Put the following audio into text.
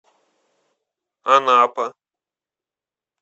анапа